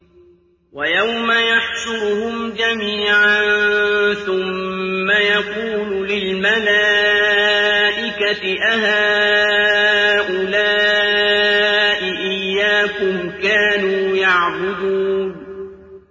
وَيَوْمَ يَحْشُرُهُمْ جَمِيعًا ثُمَّ يَقُولُ لِلْمَلَائِكَةِ أَهَٰؤُلَاءِ إِيَّاكُمْ كَانُوا يَعْبُدُونَ